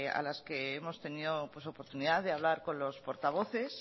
a las que hemos tenido oportunidad de hablar con los portavoces